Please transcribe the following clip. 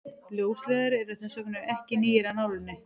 ljósleiðarar eru þess vegna ekki nýir af nálinni